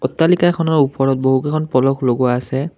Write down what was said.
অট্টালিকাখনৰ ওপৰত বহু কেইখন ফলক লগোৱা আছে।